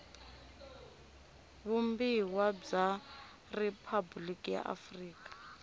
vumbiwa bya riphabuliki ra afrika